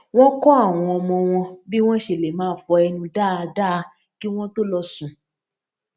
wón kó àwọn ọmọ wọn bí wón ṣe lè máa fọ ẹnu dáadáa kí wón tó lọ sùn